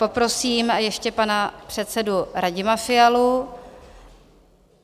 Poprosím ještě pana předsedu Radima Fialu.